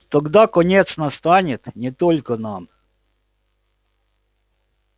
тогда конец настанет не только нам